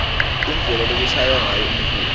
indlela lekushaywa ngayo umculo